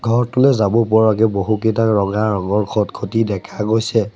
ঘৰটোলৈ যাব পৰাকৈ বহুকেইটা ৰঙা ৰঙৰ খটখটি দেখা গৈছে।